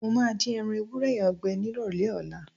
Mo máa dín ẹran ewúrẹ́ yẹn gbẹ nírọ̀lẹ́ ọ̀la.